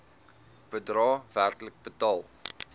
bedrae werklik betaal